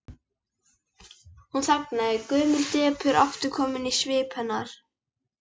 Hún þagnar, gömul depurð aftur komin í svip hennar.